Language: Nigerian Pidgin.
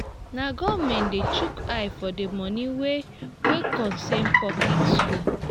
na government de shook eye for the moni wey wey concern public schools